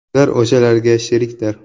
Ular o‘shalarga sherikdir’.